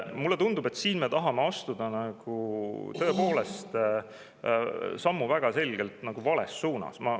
Mulle tundub, et siin me tahame astuda tõepoolest sammu väga selgelt vales suunas.